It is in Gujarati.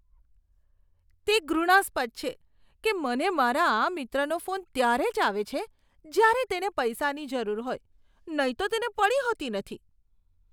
તે ઘૃણાસ્પદ છે કે મને મારા આ મિત્રનો ફોન ત્યારે જ આવે છે જ્યારે તેને પૈસાની જરૂર હોય, નહીં તો તેને પડી હોતી નથી.